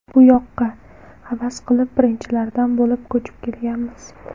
Bu yoqqa havas qilib, birinchilardan bo‘lib ko‘chib kelganmiz.